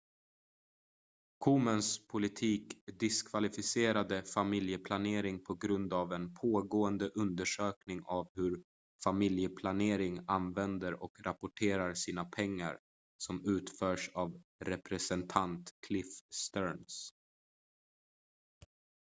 komens politik diskvalificerade familjeplanering på grund av en pågående undersökning av hur familjeplanering använder och rapporterar sina pengar som utförs av representant cliff stearns